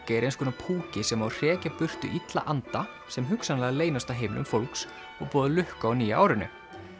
er eins konar púki sem á að hrekja burtu illa anda sem hugsanlega leynast á heimilum fólks og boða lukku á nýja árinu